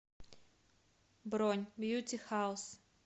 бронь бьюти хаус